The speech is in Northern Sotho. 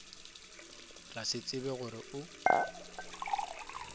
ra se tsebe gore o